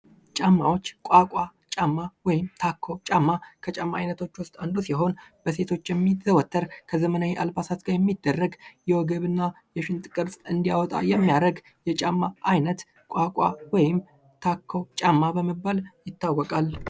ጫማዎች ቋቋ ጫማ ከጫማ አይነቶች ውስጥ አንዱ ሲሆን በሴቶች የሚዘወትር ከዘመናዊ አልባሳት ጋር የሚዘወትር ወገብ እና ሽንጥ ቅርጽ እንዲወጣ የሚያደርግ የጫማ አይነት ወይም ታኮ ጫማ በመባል ይታወቃል።